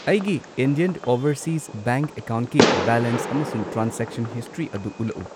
ꯑꯩꯒꯤ Indian Overseas Bank ꯑꯦꯀꯥꯎꯟꯠꯀꯤ balance ꯑꯃꯁꯨꯡ ꯇ꯭ꯔꯥꯟꯁꯦꯛꯁꯟ ꯍꯤꯁꯇ꯭ꯔꯤ ꯑꯗꯨ ꯎꯠꯂꯛꯎ꯫